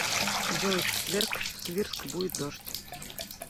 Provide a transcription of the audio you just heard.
джой в четверг в свирск будет дождь